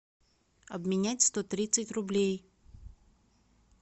обменять сто тридцать рублей